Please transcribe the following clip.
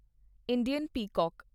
Indian peacock